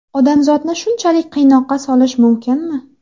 Odamzodni shunchalik qiynoqqa solish mumkinmi?